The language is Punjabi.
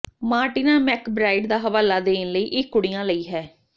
ਮਾਰਟੀਨਾ ਮੈਕਬ੍ਰਾਈਡ ਦਾ ਹਵਾਲਾ ਦੇਣ ਲਈ ਇਹ ਕੁੜੀਆਂ ਲਈ ਹੈ